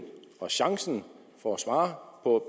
og chancen for at svare på